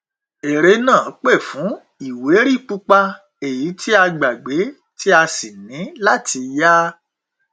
eré náà pè fún ìwé rí pupa èyí tí a gbàgbé tí a sì ní láti yá